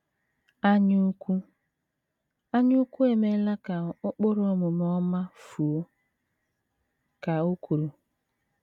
“ Anyaukwu “ Anyaukwu emeela ka ụkpụrụ omume ọma fuo, ” ka o kwuru.